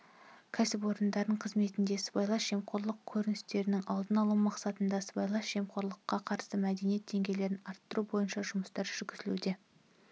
кәсіпорын қызметінде сыбайлас жемқорлық көріністерінің алдын алу мақсатында сыбайлас жемқорлыққа қарсы мәдениет деңгейін арттыру бойынша жұмыстар жүргізілуде